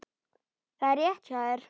Það er rétt hjá þér.